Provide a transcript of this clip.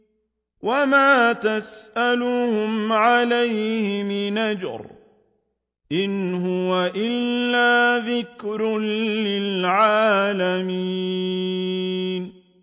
وَمَا تَسْأَلُهُمْ عَلَيْهِ مِنْ أَجْرٍ ۚ إِنْ هُوَ إِلَّا ذِكْرٌ لِّلْعَالَمِينَ